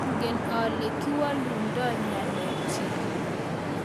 Mangen ole kiwalundoi ngalek chik